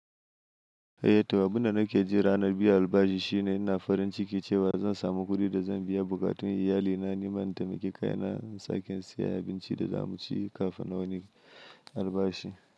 Eh, toh abin da nake ji ranar biyan albashi shine ina farin ciki cewa zan samu kuɗin da zan biya bukatun iyalina. Nima in taimaki kaina, in sake in siya abincin da za mu ci kafin wani albashi.